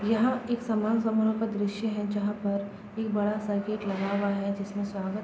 यहाँ एक सामान समारोह का दृश्य है जहाँ पर एक बड़ा सा गेट लगा हुआ है जिसमे स्वागत --